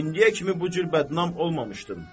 İndiyə kimi bu cür bədnam olmamışdım.